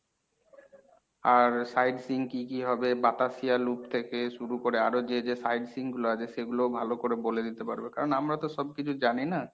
আর side seeing কী কী হবে বাতাসিয়া loop থেকে শুরু করে আরো যে যে side seeing গুলো আছে সেগুলোও ভালো করে বলে দিতে পারবে। কারণ আমরা তো সবকিছু জানিনা।